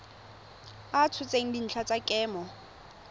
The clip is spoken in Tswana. a tshotseng dintlha tsa kemo